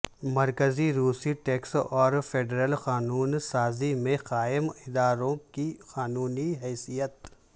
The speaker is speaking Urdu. مرکزی روسی ٹیکس اور فیڈرل قانون سازی میں قائم اداروں کی قانونی حیثیت